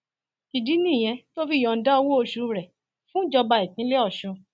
ìdí nìyẹn tó fi yọǹda owóoṣù rẹ fúnjọba ìpínlẹ ọsùn